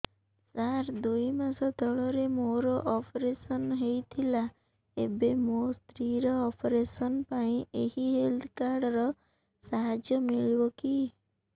ସାର ଦୁଇ ମାସ ତଳରେ ମୋର ଅପେରସନ ହୈ ଥିଲା ଏବେ ମୋ ସ୍ତ୍ରୀ ର ଅପେରସନ ପାଇଁ ଏହି ହେଲ୍ଥ କାର୍ଡ ର ସାହାଯ୍ୟ ମିଳିବ କି